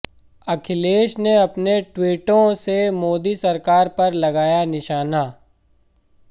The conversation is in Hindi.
अखिलेश ने अपने ट्वीटों से मोदी सरकार पर लगाया निशाना